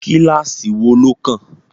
Kíláásì wo ló kàn?